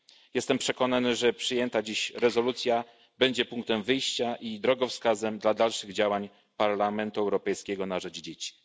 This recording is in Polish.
Jestem przekonany, że przyjęta dziś rezolucja będzie punktem wyjścia i drogowskazem dla dalszych działań Parlamentu Europejskiego na rzecz dzieci.